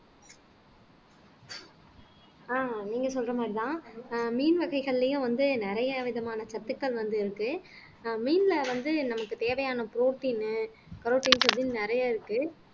ஆஹ் நீங்க சொல்ற மாதிரிதான் ஆஹ் மீன் வகைகள்லையும் வந்து நிறைய விதமான சத்துக்கள் வந்து இருக்கு ஆஹ் மீன்ல வந்து நமக்கு தேவையான protein நிறையா இருக்கு